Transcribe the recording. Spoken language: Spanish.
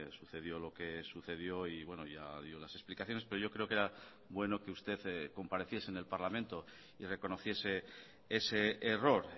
sucedió lo que sucedió y bueno ya dio las explicaciones pero yo creo que era bueno que usted compareciese en el parlamento y reconociese ese error